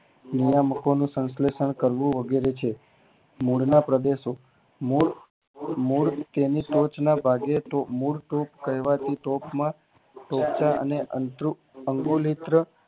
મૂળા મુકવાનું સંલેષણ કરવું તે વગેરે છે મૂળ ના પ્રદેશો મૂળ મૂળ તેમની ટોચ ના ભાગે તો મૂળ તોપ કહેવાતી તોપ માં ટોપચ અંતરું અંગોલેત્ર